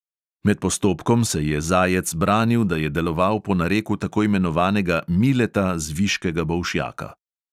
Med postopkom se je zajec branil, da je deloval po nareku tako imenovanega mileta z viškega bolšjaka.